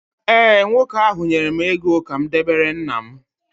ee, nwoke ahụ nyere m ego ka m debere nna m